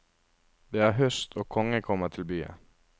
Det er høst, og kongen kommer til byen.